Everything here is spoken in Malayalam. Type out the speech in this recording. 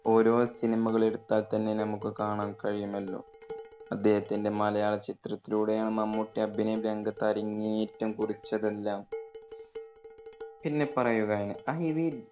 ഓരോ സിനിമകളെടുത്താൽ തന്നെ നമൂക്ക് കാണാം കഴിയുമല്ലോ, അദ്ദേഹത്തിന്റെ മലയാള ചിത്രത്തിലൂടെയാണ് മമ്മൂട്ടി അഭിനയ രംഗത്ത് അരങ്ങേറ്റം കുറിച്ചതെല്ലാം. പിന്നെ പറയുകയാണ് IV